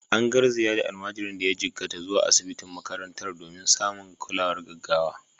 An garzaya da almajirin da ya jikkata zuwa asibitin makarantar domin samun kulawar gaggawa.